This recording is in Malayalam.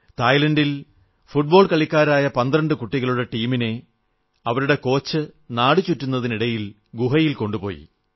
തായ്ലന്റിൽ ഫുട്ബോൾ കളിക്കാരായ 12 കുട്ടികളുടെ ടീമിനെ അവരുടെ കോച്ച് നാടുചുറ്റുന്നതിനിടയിൽ ഗുഹയിൽ കൊണ്ടുപോയി